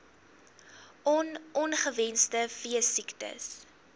on ongewenste veesiektes